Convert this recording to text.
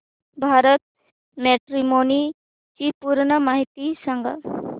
Bharat Matrimony ची पूर्ण माहिती सांगा